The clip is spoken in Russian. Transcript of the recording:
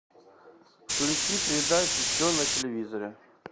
включи передачу че на телевизоре